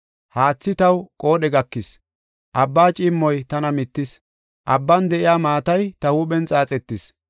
Haathi taw qoodhe gakis, Abbaa ciimmoy tana mittis. Abban de7iya maatay ta huuphen xaaxetis.